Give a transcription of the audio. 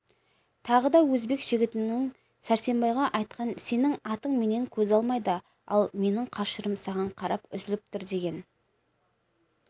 тағы да өзбек жігітінің сәрсенбайға айтқан сенің атың менен көз алмайды ал менің қашырым саған қарап үзіліп тұр деген